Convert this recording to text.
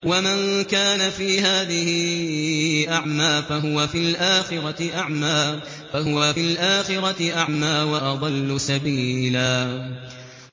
وَمَن كَانَ فِي هَٰذِهِ أَعْمَىٰ فَهُوَ فِي الْآخِرَةِ أَعْمَىٰ وَأَضَلُّ سَبِيلًا